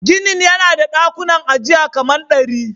Ginin yana da dakunan ajiya kaman dari.